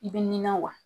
I bɛ nina wa